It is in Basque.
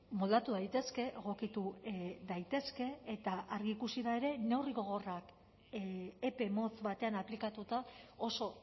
moldatu daitezke egokitu daitezke eta argi ikusi da ere neurri gogorrak epe motz batean aplikatuta oso